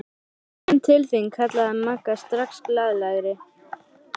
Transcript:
Ég kem til þín kallaði Magga strax glaðlegri.